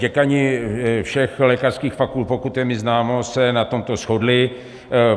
Děkani všech lékařských fakult, pokud je mi známo, se na tomto shodli.